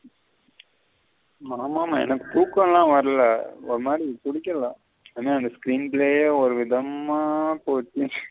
ஆமா ஆமா எனக்கு துகம்ல வரல ஒரு மாதிரி புடிக்குல ஒரு விதமா போச்சி.